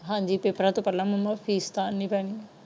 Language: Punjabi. ਹਾਜੀ ਪੇਪਰਾਂ ਤੋਂ ਪਹਿਲਾ ਮੈਨੂੰ ਫੀਸ ਤਾਰਨੀ ਪੈਣੀ ਹੈ।